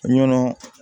Ɲɔnɔ